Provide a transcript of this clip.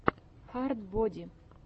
хард боди